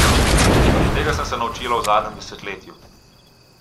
Tega sem se naučila v zadnjem desetletju.